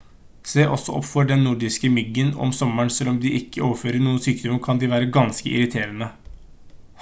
se også opp for den nordiske myggen om sommeren selv om de ikke overfører noen sykdommer kan de være ganske irriterende